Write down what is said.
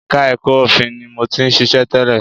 Ẹka ẹ̀kọ́ òfin ni mo ti ṣiṣẹ́ tẹ́lẹ̀.